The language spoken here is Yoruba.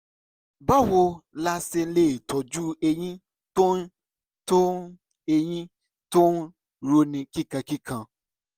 báwo la ṣe lè tọ́jú ẹ̀yìn tó ń ẹ̀yìn tó ń roni kíkankíkan?